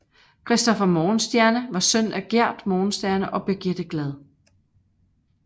Christopher Morgenstierne var søn af Giert Morgenstierne og Birgitte Glad